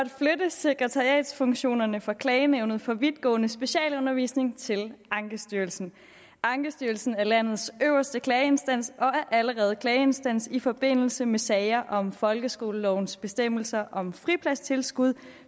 sekretariatsfunktionerne for klagenævnet for vidtgående specialundervisning til ankestyrelsen ankestyrelsen er landets øverste klageinstans og er allerede klageinstans i forbindelse med sager om folkeskolelovens bestemmelser om fripladstilskud